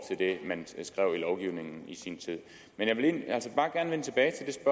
det man skrev i lovgivningen i sin tid men jeg vil altså bare gerne vende tilbage